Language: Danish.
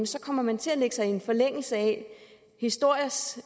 så kommer man til at lægge sig i en forlængelse af historiens